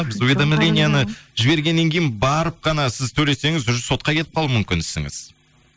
біз уведомленияны жібергеннен кейін барып қана сіз төлесеңіз уже сотқа кетіп қалуы мүмкін ісіңіз